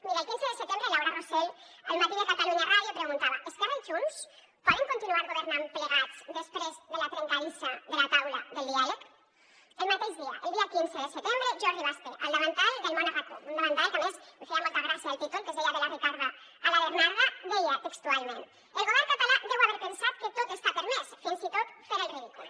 mire el quinze de setembre laura rosel a el matí de catalunya ràdio preguntava esquerra i junts poden continuar governant plegats després de la trencadissa de la taula del diàleg el mateix dia el dia quinze de setembre jordi basté a el davantal de el món a rac1 un davantal que a més em feia molta gràcia el títol que es deia de la ricarda a la bernarda deia textualment el govern català deu haver pensat que tot està permès fins i tot fer el ridícul